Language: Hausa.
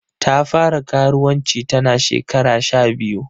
Ta fara karuwanci ta na shekara sha biyu.